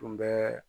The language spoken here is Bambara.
Tun bɛ